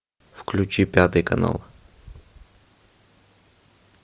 включи пятый канал